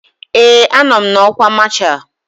Ee, anọ m n'ọkwa masha